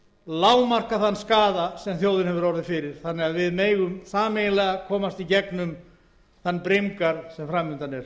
lágmarka þann skaða sem þjóðin hefur orðið fyrir þannig að við megum sameiginlega komast í gegnum þann brimgarð sem fram undan er